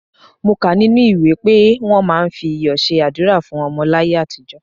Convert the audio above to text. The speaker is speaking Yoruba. Mo kà á nínú ìwé pé wọ́n máa ń fi iyọ̀ ṣe àdúrà fún ọmọ láyé àtijọ́.